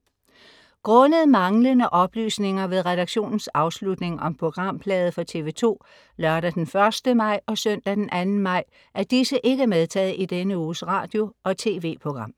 Grundet manglende oplysninger ved redaktionens afslutning om programflade for TV2 lørdag d. 1. maj og søndag d. 2 maj er disse ikke medtaget i denne uges Radio- og TV-program.